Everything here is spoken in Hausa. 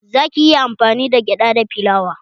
Zaki iya amfani da gyada da filawa